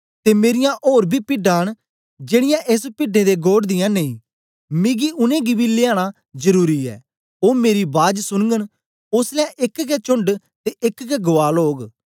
ते मेरीयां ओर बी पिड्डां न जेड़ीयां एस पिड्डें दा घोड़ दियां नेई मिगी उनेंगी बी लिआना जरुरी ऐ ओ मेरा बाज सुनगन ओसलै एक गै चोण्ड ते एक गै गुआल ओग